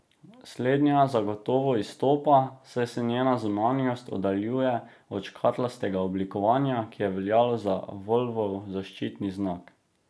Slednja zagotovo izstopa, saj se njena zunanjost oddaljuje od škatlastega oblikovanja, ki je veljalo za Volvov zaščitni znak.